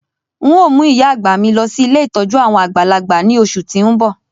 N o mu ìyá-àgbà mi lọ si ilé ìtójú àwon àgbàlagbà ni oṣù ti n bọ.